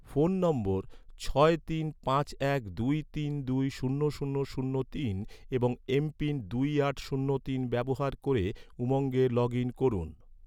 phone নম্বর ছয় তিন পাঁচ এক দুই তিন দুই শূন্য শূন্য এবং এমপিন দুই আট শূন্য তিন ব্যবহার ক’রে, উমঙ্গে লগ ইন করুন